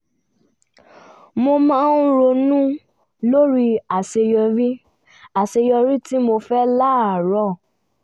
mo máa ronú lórí aṣeyọrí aṣeyọrí tí mo fẹ́ láàárọ̀